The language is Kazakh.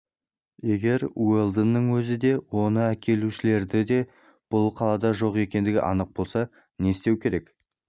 егер уэлдонның өзі де оны әкелушілердің де бұл қалада жоқ екендігі анық болса не істеу керек